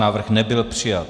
Návrh nebyl přijat.